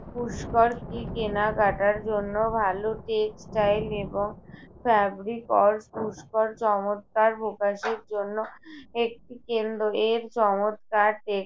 পুষ্কর কি কেনা কাটার জন্য ভালো? textile এবং fabriclore পুষ্কর চমৎকার পোষাকের জন্য একটি কেন্দ্র। এর চমৎকার